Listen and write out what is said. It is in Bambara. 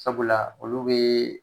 Sabula olu be